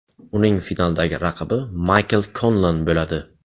Uning finaldagi raqibi Maykl Konlan bo‘ladi.